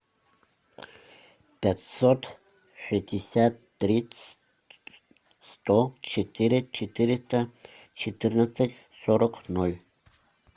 пятьсот шестьдесят тридцать сто четыре четыреста четырнадцать сорок ноль